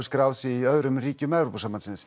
skráð í öðrum ríkjum Evrópusambandsins